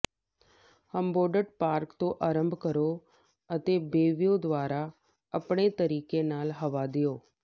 Humboldt park ਤੋਂ ਅਰੰਭ ਕਰੋ ਅਤੇ ਬੇਅ ਵਿਊ ਦੁਆਰਾ ਆਪਣੇ ਤਰੀਕੇ ਨਾਲ ਹਵਾ ਦਿਓ